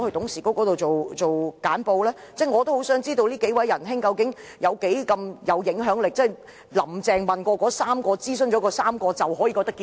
我也很想知道這幾位仁兄究竟有多大影響力，"林鄭"諮詢了3位人士後是否就覺得事情可以長驅直進？